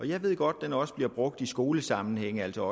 jeg ved godt at den også bliver brugt i skolesammenhæng altså